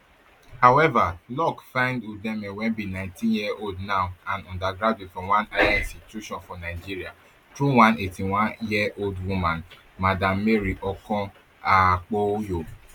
however luck find udeme wey be nineteenyearold now and undergraduate for one higher institution for nigeria through one eighty-oneyearold woman madam mary okon okpoyo